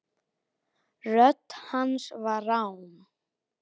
Rödd hans var rám.